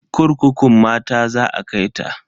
Kurkukun mata za a kai ta.